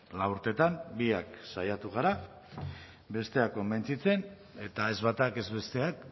lau urtetan biak saiatu gara bestea konbentzitzen eta ez batak ez besteak